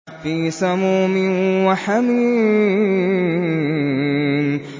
فِي سَمُومٍ وَحَمِيمٍ